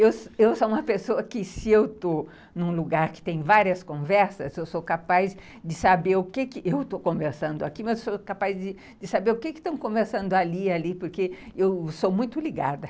Eu eu sou uma pessoa que, se eu estou num lugar que tem várias conversas, eu sou capaz de saber o que... Eu estou conversando aqui, mas sou capaz de saber o que estão conversando ali e ali, porque eu sou muito ligada.